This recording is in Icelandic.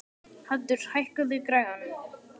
Haddur, hækkaðu í græjunum.